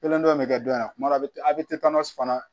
Kelen dɔ in bɛ kɛ dɔ in na kuma dɔ a bɛ a bɛ fana